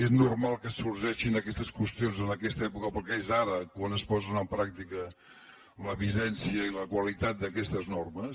és normal que sorgeixin aquestes qüestions en aquesta època perquè és ara quan es posen en pràctica la vigència i la qualitat d’aquestes normes